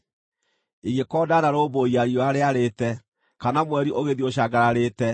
ingĩkorwo ndanarũmbũiya riũa rĩarĩte, kana mweri ũgĩthiĩ ũcangararĩte,